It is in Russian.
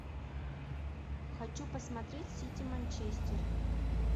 хочу посмотреть сити манчестер